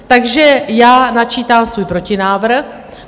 Takže já načítám svůj protinávrh.